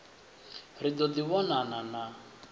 ri ḓo ḓi vhonana na